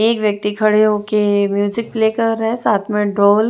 एक व्यक्ति खड़े हो के म्यूजिक प्ले कर रहा है साथ में डॉल --